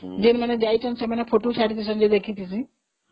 ଯୋଉମାନେ ଯାଇଛନ୍ତି ସେମାନେ photo ଛାଡିଛନ୍ତି ଯେ ମୁଁ ଦେଖିଛି